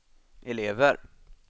elever